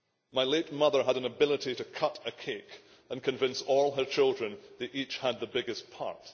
My late mother had an ability to cut a cake and convince all her children that they each had the biggest part.